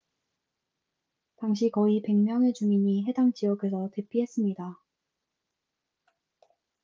당시 거의 100명의 주민이 해당 지역에서 대피했습니다